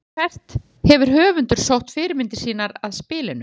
En hvert hefur höfundur sótt fyrirmyndina að spilinu?